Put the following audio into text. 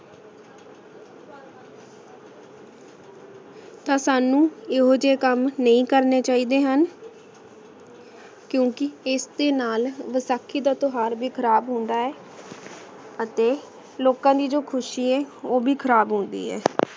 ਪਰ ਸਾਨੂ ਏਹੋ ਜੇ ਕਾਮ ਨਹੀ ਕਰਨੇ ਚੀ ਦੇ ਹਨ ਕ੍ਯੂ ਕੇ ਇਸਦੇ ਨਾਲ ਵਸਾਖੀ ਦਾ ਟੁਹਾਰ ਵੀ ਖਰਾਬ ਹੁੰਦਾ ਹੈ ਅਤੀ ਲੋਕਾਂ ਦੀ ਜੋ ਖੁਸ਼ੀ ਆਯ ਊ ਵੀ ਖਰਾਬ ਹੋ ਗਈ ਆਯ